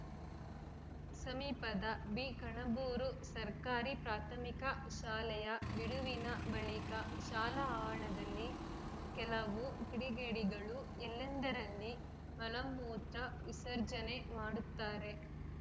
ಸಮೀಪದ ಬಿಕಣಬೂರು ಸರ್ಕಾರಿ ಪ್ರಾಥಮಿಕ ಶಾಲೆಯ ಬಿಡುವಿನ ಬಳಿಕ ಶಾಲಾ ಆರದಲ್ಲಿ ಕೆಲವು ಕಿಡಿಗೇಡಿಗಳು ಎಲ್ಲೆಂದರಲ್ಲಿ ಮಲಮೂತ್ರ ವಿಸರ್ಜನೆ ಮಾಡುತ್ತಾರೆ